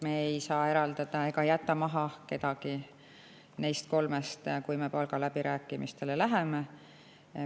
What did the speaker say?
Me ei saa eraldada ega maha jätta kedagi neist kolmest, kui me palgaläbirääkimistele läheme.